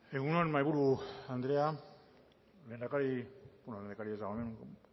egun on mahaiburu andrea lehendakari beno lehendakaria ez dago hemen